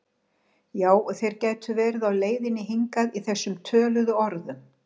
Já og þeir gætu verið á leiðinni hingað í þessum töluðu orðum